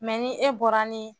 ni e bɔra ni